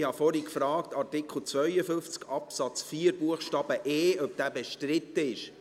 Ich habe vorhin gefragt, ob Artikel 52 Absatz 4 Buchstabe e bestritten ist.